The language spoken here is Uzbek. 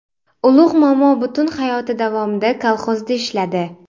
Ulug‘ momo butun hayoti davomida kolxozda ishladi.